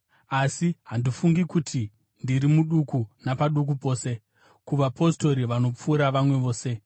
Asi handifungi kuti ndiri muduku napaduku pose ku“vapostori vanopfuura vamwe vose.”